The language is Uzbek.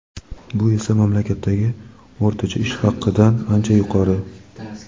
bu esa mamlakatdagi o‘rtacha ish haqidan ancha yuqori.